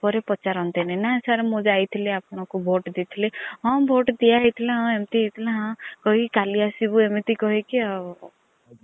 ପରେ ପଚାର ନତିନୀ ନା sir ମୁଁ ଯାଇଥିଲି ଆପଣ ଙ୍କୁ vote ଦେଇଥିଲି ହଁ vote ଦିଆ ହେଇ ଥିଲା ହଁ ଏମିତି ହେଇଥିଲା ହଁ କହିକୀ କାଲି ଆସିବୁ ଅମିତି କହିକୀ ଆଉ।